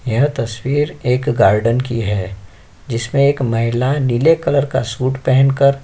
यह तस्वीर एक गार्डन की है जिसमे एक महिला नीले कलर का सूट पहन कर --